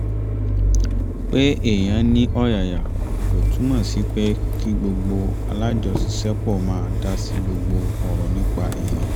pé èèyàn ní ọ̀yàyà kò túmọ̀ sí pé kí gbogbo alájọṣiṣẹ́pọ̀ máa dá sí gbogbo ọ̀rọ̀ nípa èèyàn